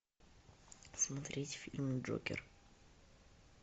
смотреть фильм джокер